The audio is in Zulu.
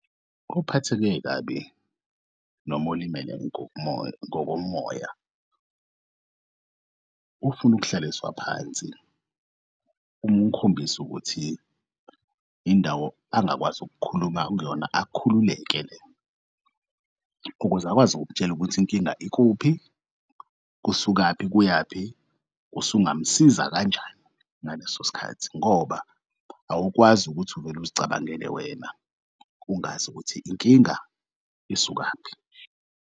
Ophatheke kabi noma olimele ngokomoya ufun'ukuhlaliswa phansi um'khombis'ukuthi indawo angakwazi ukukhuluma kuyona akhululeke lena ukuze akwazi ukukutshela ukuthi inkinga ikuphi, kusukaphi kuyaphi usungamsiza kanjani ngaleso sikhathi ngoba awukwazi ukuthi uvele ukuzicabangele wena ungazi ukuthi inkinga isukaphi.